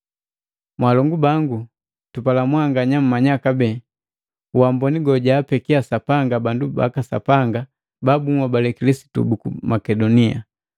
Mwaalongu bangu, tupala mwanganya mmanya kupete uamboni gojaapeki Sapanga bandu baka Sapanga babunhoabale Kilisitu buku Makedonia.